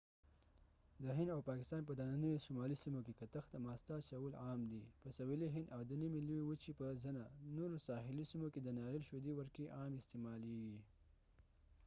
د هند او پاکستان په دننیو شمالي سیمو کې کتغ ته ماسته اچول عام دي په سوېلي هند او د نیمې لوی وچې په ځنه نورو ساحلي سیمو کې د ناریل شودې ورکې عامې استعمالیږي